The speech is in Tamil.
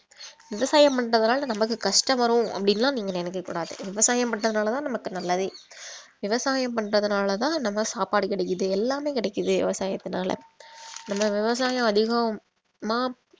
விவசாயம் பண்றதுனால நமக்கு கஷ்டம் வரும் அப்படினுலாம் நீங்க நினைக்க கூடாது விவசாயம் பண்றதுனால தான் நமக்கு நல்லது விவசாயம் பண்றதுனால தான் நம்ம சாப்பாடு கிடைக்குது எல்லாமே கிடைக்குது விவசாயத்தினால நம்ம விவசாயம் அதிகம் மா~